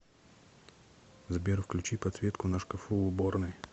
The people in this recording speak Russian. сбер включи подсветку на шкафу в уборной